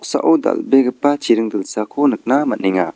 dal·begipa chiring dilsako nikna man·enga.